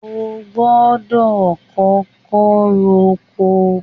o gbọdọ kókó r'oko